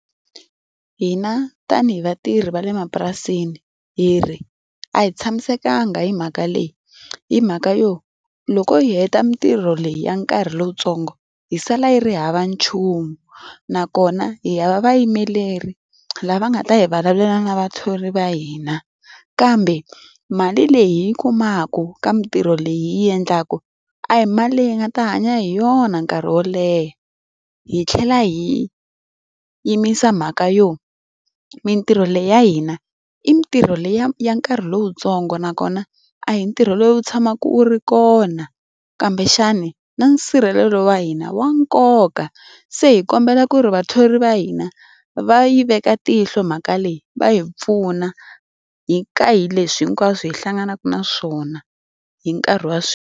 Hina tanihi vatirhi va le mapurasini hi ri a hi tshamisekanga hi mhaka leyi. Hi mhaka yo, loko hi heta mitirho leyi ya nkarhi lowuntsongo hi sala hi ri hava nchumu. Nakona hi hava vayimeleri lava nga ta hi vulavulela na vathori va hina, kambe mali leyi hi yi kumaku ka mitirho leyi hi yi endlaku a hi mali leyi hi nga ta hanya hi yona nkarhi wo leha. Hi tlhela hi yimisa mhaka yo, mitirho leyi ya hina, i mitirho liya ya ya nkarhi lowuntsongo nakona, a hi ntirho lowu tshamaka wu ri kona kumbexani na nsirhelelo wa hina na wa nkoka. Se hi kombela ku ri vathori va hina, va yi veka tihlo mhaka leyi va hi pfuna ka hi leswi hinkwaswo hi hlanganaka na swona hi nkarhi wa .